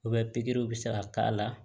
pikiriw bɛ se ka k'a la